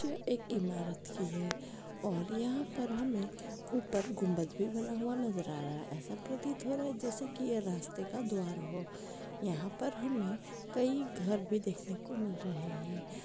ये एक इमारत भी है और यहा पर हमे ऊपर गुंबज भी बना हुआ नजर आ रहा है ऐसा प्रतीत हो रहा है जैसे की यह रास्ते का द्वार हो यहा पर हमे कई घर देखने को मिल रहे है।